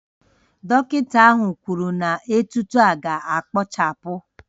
Dọkịta ahụ kwuru na etuto ahụ ga-akpochapụ